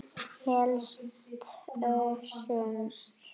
Helst Össur.